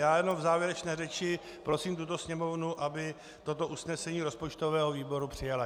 Já jenom v závěrečné řeči prosím tuto Sněmovnu, aby toto usnesení rozpočtového výboru přijala.